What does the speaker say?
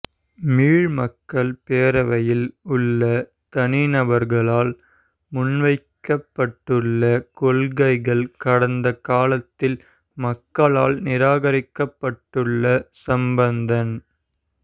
மிழ் மக்கள் பேரவையில் உள்ள தனிநபர்களால் முன்வைக்கப்பட்டுள்ள கொள்கைகள் கடந்த காலத்தில் மக்களால் நிராகரிக்கப்பட்டுள்ளனசம்பந்தன்